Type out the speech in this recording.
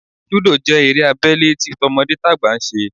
Lúdò jẹ́ eré abẹ́lé tí tọmọdétàgbà ń ṣe